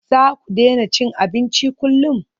Za ku daina cin abinci kullum?